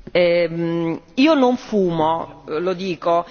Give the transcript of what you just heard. Signor Presidente, onorevoli colleghi, io non fumo, lo dico,